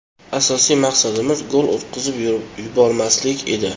Asosiy maqsadimiz gol o‘tkazib yubormaslik edi.